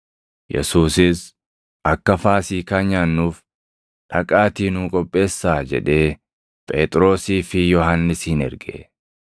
Yesuusis, “Akka Faasiikaa nyaannuuf dhaqaatii nuu qopheessaa” jedhee Phexrosii fi Yohannisin erge.